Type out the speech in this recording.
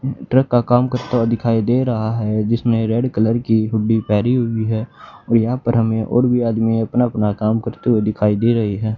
Truck का काम करता हुआ दिखाई दे रहा है जिसमें रेड कलर की हुड्डी पहनी हुई है और यहां पर हमें और भी आदमी अपना अपना काम करते हुए दिखाई दे रहे हैं।